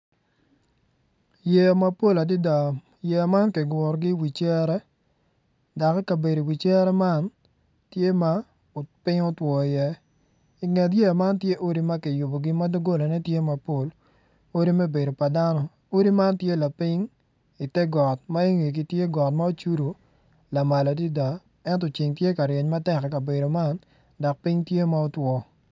Yeya mapol adada yeya man kigurogi i wi cere dok i kabedo i wi cere man tye ma piny otwo iye i nget yeya man tye odi ma kiyubogi dogolagitye mapol